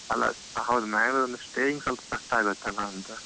ಅಲ್ಲ. ಹೌದು ಮಂಗಳೂರಲ್ಲಿ staying ಸ್ವಲ್ಪ ಕಷ್ಟ ಆಗ್ತತಲ್ಲ ಅಂತ.